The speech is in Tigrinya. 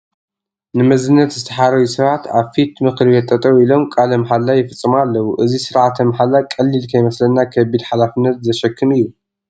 ንመዝነት ዝተሓረዩ ሰባት ኣብ ፊት ምክርቤት ጠጠው ኢሎም ቃለ ማሕላ ይፍፅሙ ኣለዉ፡፡ እዚ ስርዓተ ማሕላ ቀሊል ከይመስለና ከቢድ ሓላፍነት ዘሽክም እዩ፡፡